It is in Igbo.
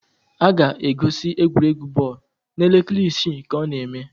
A ga-egosi egwuregwu bọọlụ n'elekere isii ka ọ na eme